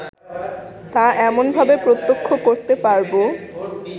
তা এমনভাবে প্রত্যক্ষ করতে পারব